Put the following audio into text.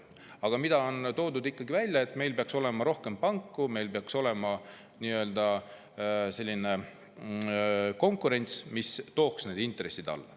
Aga on toodud välja, et meil peaks olema rohkem panku, meil peaks olema selline konkurents, mis tooks need intressid alla.